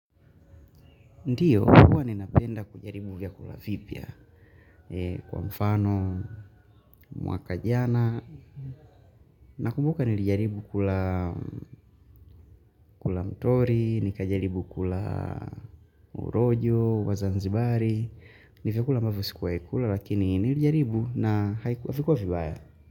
Ndiyo, huwa ninapenda kujaribu vya kula vipya kwa mfano mwaka jana na kumbuka nilijaribu kula mtori, nikajaribu kula urojo, wazanzibari, nifekula mbafo sikuwa ikula lakini nilijaribu na haikuwa vibaya.